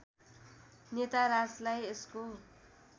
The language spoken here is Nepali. नेता राजलाई यसको